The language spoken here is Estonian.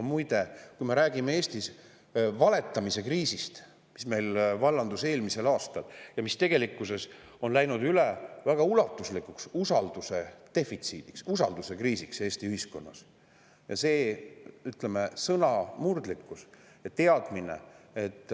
Muide, kui me räägime Eestis valetamise kriisist, mis meil vallandus eelmisel aastal, siis tegelikkuses on see läinud üle väga ulatuslikuks usalduse defitsiidiks, usalduskriisiks Eesti ühiskonnas – sõnamurdlikkus ja teadmine, et